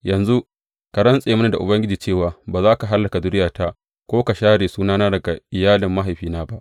Yanzu ka rantse mini da Ubangiji cewa ba za ka hallaka zuriyarta ko ka share sunana daga iyalin mahaifina ba.